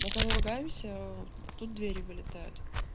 мы когда ругаемся тут двери вылетают